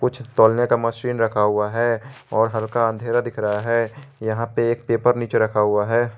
कुछ तौलने का मशीन रखा हुआ है और हल्का अंधेरा दिख रहा है यहां पे एक पेपर नीचे रखा हुआ है।